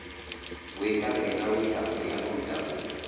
Gwĩka wega wĩra ũrĩa ũrutagwo.